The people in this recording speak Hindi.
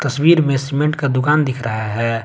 तस्वीर में सीमेंट का दुकान दिख रहा है।